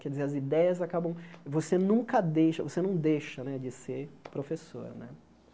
Quer dizer, as ideias acabam... Você nunca deixa, você não deixa né de ser professor, né?